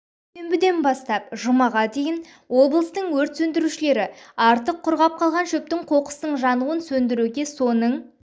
дүйсебіден бастап жұмаға дейін облыстың өрт сөндірушілері артық құрғап қалған шөптің қоқыстың жануын сөндіруге соның